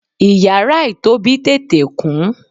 iyara itobi tete kun